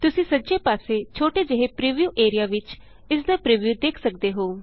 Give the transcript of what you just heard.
ਤੁਸੀਂ ਸੱਜੇ ਪਾਸੇ ਛੋਟੇ ਜਿਹੇ ਪ੍ਰੀਵਿਊ ਏਰੀਆ ਵਿਚ ਇਸਦਾ ਪ੍ਰੀਵਿਊ ਦੇਖ ਸਕਦੇ ਹੋ